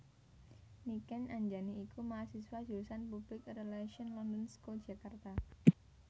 Niken Anjani iku mahasiswa Jurusan Public Relations London School Jakarta